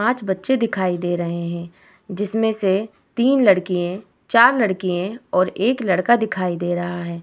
पांच बच्चे दिखाई दे रहे है जिसमे से तीन लड़किये चार लड़किये और एक लड़का दिखाई दे रहा है।